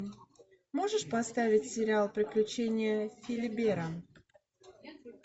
можешь поставить сериал приключения филибера